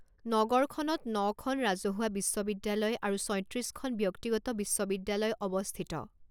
নগৰখনত নখন ৰাজহুৱা বিশ্ববিদ্যালয় আৰু ছয়ত্ৰিশখন ব্যক্তিগত বিশ্ববিদ্যালয় অৱস্থিত।